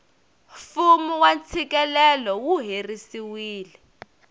fumu wa tshikelelo wu herisiwile